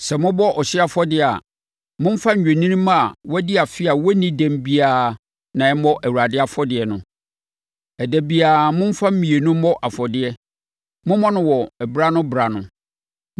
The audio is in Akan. Sɛ mobɔ ɔhyeɛ afɔdeɛ a, momfa nnwennini mma a wɔadi afe a wɔnni dɛm biara na ɛmmɔ Awurade afɔdeɛ no. Ɛda biara, momfa mmienu mmɔ afɔdeɛ. Mommɔ no wɔ berɛ-ano-berɛ ano.